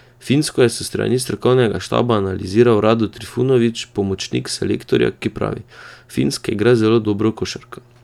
Finsko je s strani strokovnega štaba analiziral Rado Trifunović, pomočnik selektorja, ki pravi: "Finska igra zelo dobro košarko.